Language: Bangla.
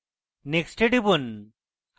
next এ টিপুন